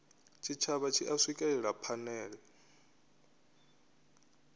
tshitshavha tshi a swikelela phanele